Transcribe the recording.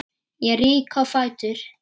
Ég rýk á fætur.